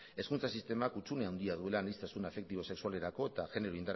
hezkuntza sistemak hutsune handia duela aniztasun afektibo sexualerako eta genero